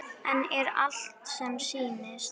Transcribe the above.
En er allt sem sýnist?